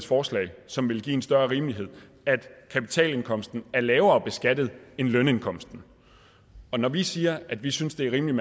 forslag som ville give en større rimelighed at kapitalindkomsten er lavere beskattet end lønindkomsten når vi siger at vi synes det er rimeligt